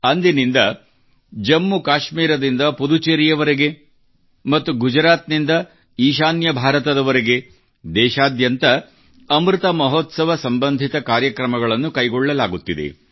ಅಂದಿನಿಂದ ಜಮ್ಮು ಕಾಶ್ಮೀರದಿಂದ ಪುದುಚೇರಿವರೆಗೆ ಮತ್ತು ಗುಜರಾತ್ ನಿಂದ ಈಶಾನ್ಯ ಭಾರತದವರೆಗೆ ದೇಶಾದ್ಯಂತ ಅಮೃತ ಮಹೋತ್ಸವ ಸಂಬಂಧಿತ ಕಾರ್ಯಕ್ರಮಗಳನ್ನು ಕೈಗೊಳ್ಳಲಾಗುತ್ತಿದೆ